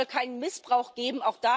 Also es soll keinen Missbrauch geben.